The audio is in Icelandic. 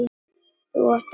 Þú átt alla dagana.